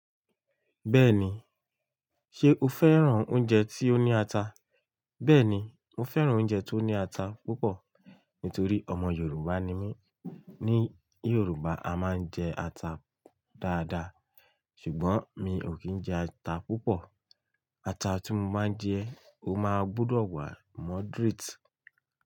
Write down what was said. Bẹ́ẹ̀ni, ṣe o fẹ́ràn oúnjẹ tí ó ní ata? Bẹ́ẹ̀ni, mo fẹ́ràn oúnjẹ tó ní ata púpọ̀ nítorí ọmọ Yorùbá ni mí. Ní Yorùbá, a máa ń jẹ ata dáadáa ṣùgbọ́n mi ò kí ń jẹ ata púpọ̀. Ata tí mo máa ń jẹ, ó máa gbọdọ̀ wà moderate.